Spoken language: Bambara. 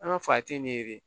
An ka fa tɛ yen ne ye